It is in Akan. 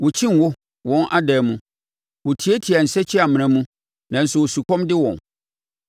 Wɔkyi ngo wɔn adan mu; wɔtiatia nsakyimena mu, nanso osukɔm de wɔn.